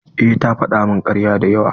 Eh ta faɗa min karya da yawa.